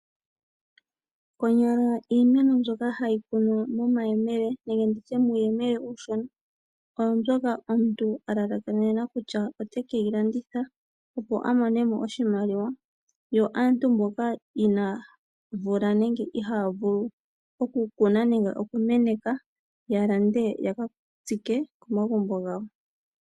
Konyala iimeno mbyoka hayi kunwa momayemele nenge nditye muuyemele uushona oyo mbyoka omuntu a lalakanena kutya otekeyi landitha opo a mone mo oshimaliwa yo aantu mboka inaa vula nenge ihaa vulu okukuna nenge okumeneka ya lande ya ka tstike komagumbo gawo.